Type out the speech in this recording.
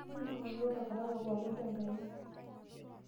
Ntururo takataka pookin te nkaina.